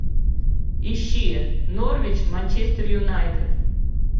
ищи норвич манчестер юнайтед